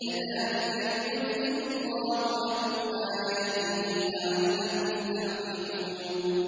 كَذَٰلِكَ يُبَيِّنُ اللَّهُ لَكُمْ آيَاتِهِ لَعَلَّكُمْ تَعْقِلُونَ